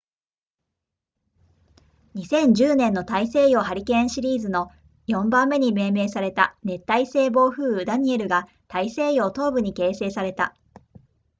2010年の大西洋ハリケーンシーズンの4番目に命名された熱帯性暴風雨ダニエルが大西洋東部に形成された